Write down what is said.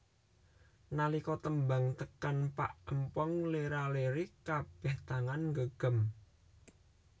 Nalika tembang tekan pak empong lera lere kabeh tangan nggegem